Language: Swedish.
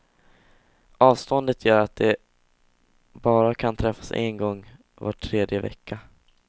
Avståndet gör att de bara kan träffas en gång var tredje vecka.